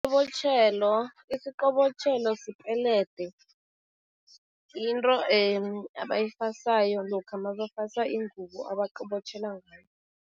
Isiqobotjhelo sipelede. Yinto abayifasayo lokha mabafasa ingubo, abaqobotjhela ngayo.